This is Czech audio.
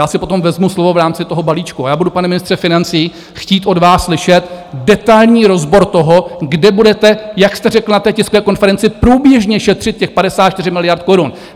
Já si potom vezmu slovo v rámci toho balíčku a já budu, pane ministře financí, chtít od vás slyšet detailní rozbor toho, kde budete, jak jste řekl na té tiskové konferenci, průběžně šetřit těch 54 miliard korun.